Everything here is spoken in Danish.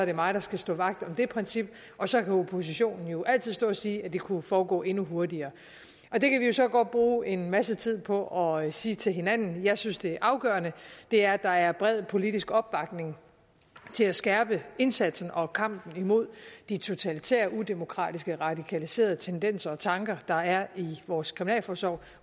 det mig der skal stå vagt om det princip og så kan oppositionen jo altid stå og sige at det kunne foregå en hurtigere og det kan vi jo så godt bruge en masse tid på at sige til hinanden jeg synes det afgørende er at der er bred politisk opbakning til at skærpe indsatsen og kampen imod de totalitære udemokratiske radikaliserede tendenser og tanker der er i vores kriminalforsorg